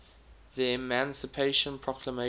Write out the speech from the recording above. the emancipation proclamation